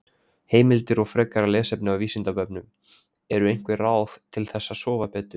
Heimildir og frekara lesefni á Vísindavefnum: Eru til einhver ráð til þess að sofa betur?